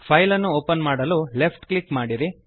file ಅನ್ನು open ಮಾಡಲು left click ಮಾಡಿರಿ